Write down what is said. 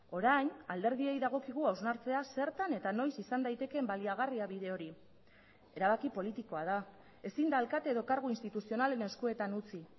orain alderdiei dagokigu hausnartzea zertan eta noiz izan daitekeen baliagarria bide hori erabaki politikoa da ezin da alkate edo kargu instituzionalen eskuetan utzi